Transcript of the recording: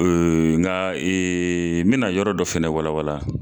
nga n mɛ na yɔrɔ dɔ fɛnɛ wala wala.